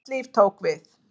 Nýtt líf tók við.